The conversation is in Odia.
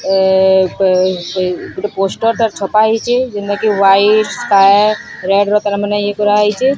ଆଁ ଆଁ ଗୋଟେ ପୋଷ୍ଟର୍ ଟା ଛପା ହେଇଛି ଯେନ୍ତା କି ଏହାଇଟ୍ ଇଏ କରାହେଇଛି।